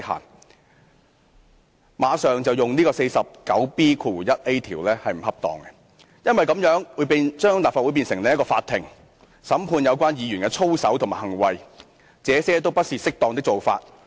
如此便立刻引用《議事規則》第 49B 條並不恰當，因為這樣會把立法會變成法庭，審判有關議員的操守和行為，這些都不是適當的做法。